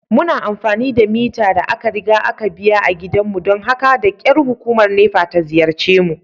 Muna amfani da mita da aka riga aka biya a gidanmu don haka da kyar hukumar NEPA ta ziyarce mu.